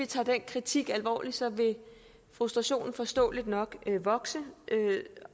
tager den kritik alvorligt vil frustrationen forståeligt nok vokse